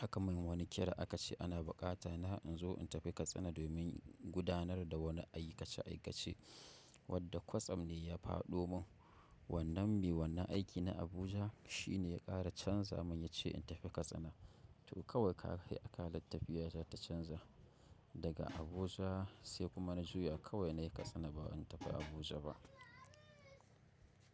aka min wani kira aka ce ana buƙata na in zo in tafi Katsina domin gudanar da wani aikace-aikace wadda kwatsam ne ya faɗo min. Wannan mai wannan aiki na Abujan shi ne ya ƙara canza mun ya ce in tafi Katsina. To kawai ka kai akalar tafiya za ta canza daga Abuja sai kuma na juya kawai na yi Katsina ba in tafi Abuja ba.